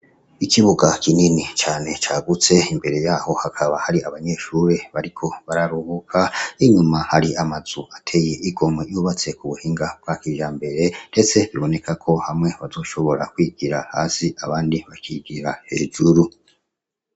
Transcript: Ikibuga kinini cane cagutse, imbere yaho hakaba hari abanyeshuri bariko bararuhuka inyuma hari amazu ateye igomwe yubatse ku buhinga bwa kijambere ndetse biboneka ko hamwe bazoshobora kwigira hasi abandi bakigira hejuru.